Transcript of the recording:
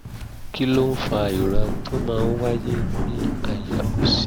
kí ló ń fa ìrora tó máa ń wáyé ní àyà òsì?